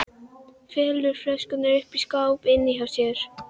Felur flöskuna uppi í skáp inni hjá sér.